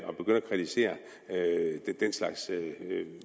kritisere den slags